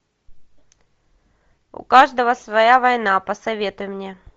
у каждого своя война посоветуй мне